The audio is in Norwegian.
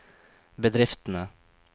bedriftene